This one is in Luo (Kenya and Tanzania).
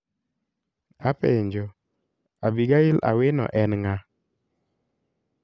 Apenjo, Abigail Awino en ng'a?